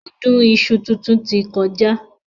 Ọdún iṣu titun ti kọjá.